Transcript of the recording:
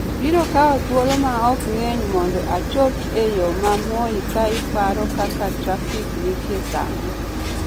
biro kawo thuolo maom ng�eny mondo achop e yo ma moi ka iparo kaka trafik nitie sani